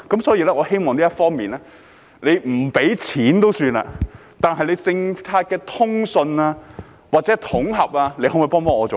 所以，我希望在這方面，政府不提供金錢資助也罷，但對於政策的通順或統合，能否幫一把呢？